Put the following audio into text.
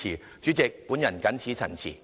代理主席，我謹此陳辭。